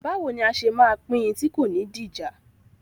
Báwo ni a ṣe máa pín in tí kò ní di ìjà?